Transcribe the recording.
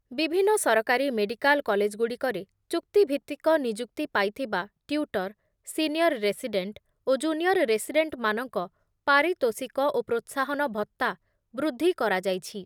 ବିଭିନ୍ନ ସରକାରୀ ମେଡ଼ିକାଲ କଲେଜ୍‌ଗୁଡ଼ିକରେ ଚୁକ୍ତିଭିତ୍ତିକ ନିଯୁକ୍ତି ପାଇଥିବା ଟ୍ୟୁଟର, ସିନିଅର ରେସିଡେଣ୍ଟ ଓ ଜୁନିଅର ରେସିଡେଣ୍ଟମାନଙ୍କ ପାରିତୋଷିକ ଓ ପ୍ରୋତ୍ସାହନ ଭତ୍ତା ବୃଦ୍ଧି କରାଯାଇଛି ।